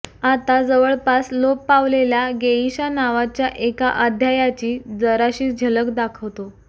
आता जवळपास लोप पावलेल्या गेइशा नावाच्या एका अध्यायाची जराशी झलक दाखवतो